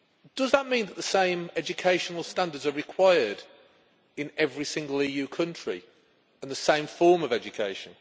Does that mean that the same educational standards are required in every single EU country, and the same form of education?